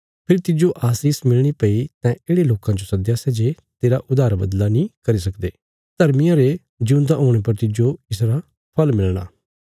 फेरी तिज्जो आशीष मिलणी भई तैं येढ़े लोकां जो सद्दया सै जे तेरा उधार बदला नीं करी सकदे धर्मियां रे जिऊंदा हुणे पर तिज्जो इसरा फल़ मिलणा